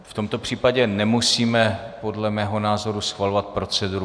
V tomto případě nemusíme, podle mého názoru, schvalovat proceduru.